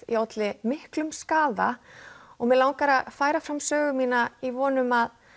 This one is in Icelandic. ég olli miklum skaða og mig langar að færa fram sögu mína í von um að